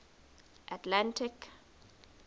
atlantic